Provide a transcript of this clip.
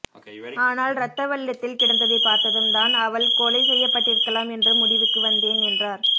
ஆனால் ரத்த வெள்ளத்தில் கிடந்ததைப் பார்த்ததும் தான் அவள் கொலை செய்யப்பட்டிருக்கலாம் என்ற முடிவுக்கு வந்தேன் என்றார்